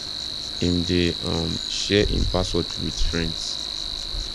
him dey um share him password with friends